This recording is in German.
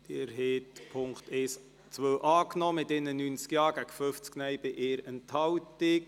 Sie haben den Punkt 2 angenommen mit 91 Ja- gegen 50 Nein-Stimmen bei 1 Enthaltung.